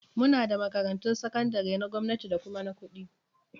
Muna da makarantun sakandare na gwamnati da kuma na kuɗi